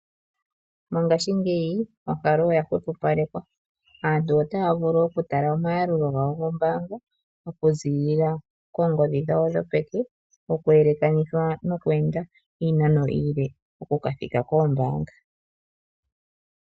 Mongashingeyi onkalo oya hwepopalekwa, aantu otaya vulu oku tala omayalulo gawo gombaanga oku ziilila koongodhi dhawo dhopeke oku yelekanithwa nokweenda iinano iile oku kathika koombaanga.